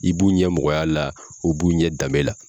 I b'u ɲɛ mɔgɔya la u b'u ɲɛ danbe la.